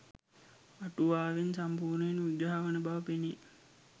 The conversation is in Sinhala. අටුවාවෙන් සම්පූර්ණයෙන් විග්‍රහ වන බව පෙනේ